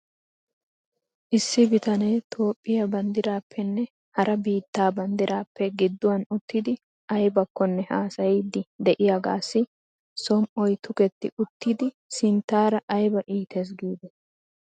Issi bitanee Toophphiyaa banddiraappenne hara biittaa banddiraappe gidduwan uttidi aybakkonne haasayiiddi de'iyaagaassi som''oy tuketti uttidi sinttaara ayba iites giidetii ?